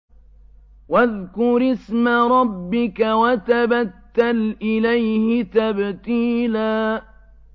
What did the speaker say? وَاذْكُرِ اسْمَ رَبِّكَ وَتَبَتَّلْ إِلَيْهِ تَبْتِيلًا